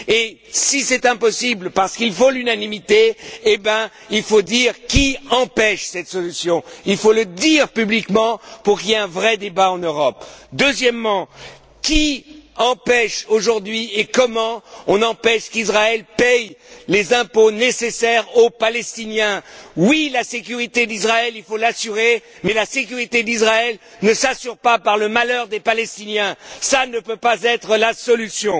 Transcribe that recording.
Et si c'est impossible parce qu'il faut l'unanimité, alors il faut dire qui empêche cette solution. Il faut le dire publiquement pour qu'il y ait un vrai débat en Europe. Deuxièmement, qui empêche aujourd'hui, et comment, qu'Israël paie les impôts nécessaires aux Palestiniens? Oui, la sécurité d'Israël il faut l'assurer, mais la sécurité d'Israël ne s'assure pas par le malheur des Palestiniens, ça ne peut pas être la solution.